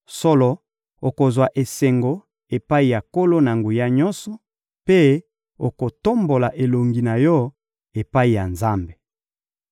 Solo, okozwa esengo epai ya Nkolo-Na-Nguya-Nyonso mpe okotombola elongi na yo epai ya Nzambe.